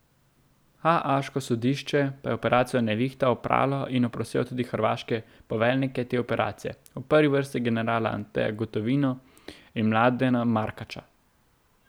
Haaško sodišče pa je operacijo Nevihta opralo in oprostilo tudi hrvaške poveljnike te operacije, v prvi vrsti generala Anteja Gotovino in Mladena Markaća.